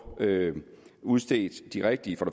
udstedt de rigtige